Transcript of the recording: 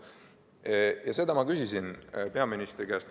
Ja selle kohta ma küsisin peaministri käest.